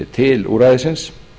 til úrræðisins